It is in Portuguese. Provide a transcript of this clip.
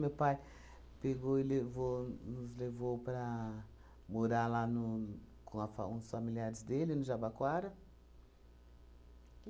Meu pai pegou e levou nos levou para morar lá no com a fa uns familiares dele, no Jabaquara.